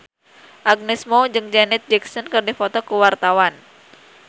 Agnes Mo jeung Janet Jackson keur dipoto ku wartawan